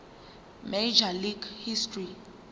major league history